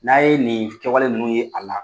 N'a ye nin kɛwale ninnu ye a la